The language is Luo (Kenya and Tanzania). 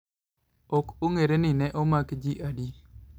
Ok ong'ere ni ne omak ji adi.